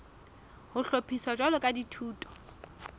ho hlophiswa jwalo ka dithuto